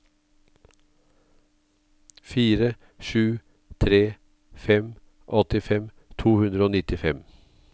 fire sju tre fem åttifem to hundre og nittifem